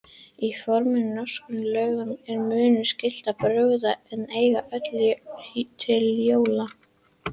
Í fornum norskum lögum er mönnum skylt að brugga og eiga öl til jóla.